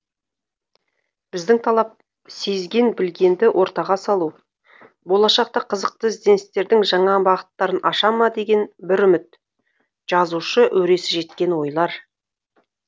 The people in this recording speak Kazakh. біздің талап сезген білгенді ортаға салу болашақта қызықты ізденістердің жаңа бағыттарын аша ма деген бір үміт жазушы өресі жеткен ойлар